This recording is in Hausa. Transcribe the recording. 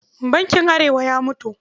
Bankin Arewa ya mutu.